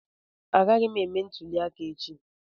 Agaghị m eme ntuli aka echi